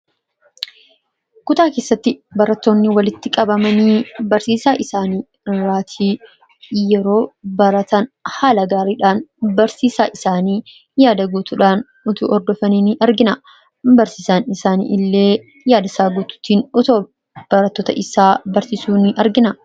kutaa keessatti baratoonni walitti qabamanii barsiisaa isaanii irraatii yeroo baratan haala gaariidhaan barsiisaan isaanii yaada guutuudhaan utuu hordofanii ni argina barsiisaan isaanii illee yaada isaa guutuutiin otoo barattoota isaa barsiisuu ni argina